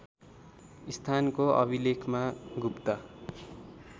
स्थानको अभिलेखमा गुप्त